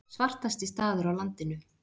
Svartasti staður á landinu